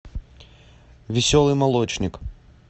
веселый молочник